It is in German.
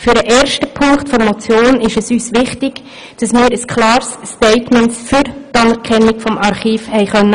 Beim ersten Punkt der Motion ist uns wichtig, dass wir ein klares Statement für die Anerkennung des Archivs abholen konnten.